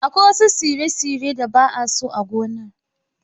Akwai wasu tsire-tsire da ba'a so a gonar.